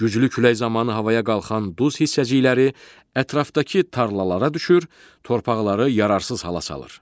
Güclü külək zamanı havaya qalxan duz hissəcikləri ətrafdakı tarlalara düşür, torpaqları yararsız hala salır.